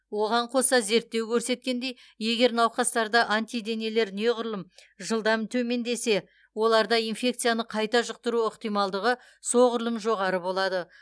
оған қоса зерттеу көрсеткендей егер науқастарда антиденелер неғұрлым жылдам төмендесе оларда инфекцияны қайта жұқтыру ықтималдығы соғұрлым жоғары болады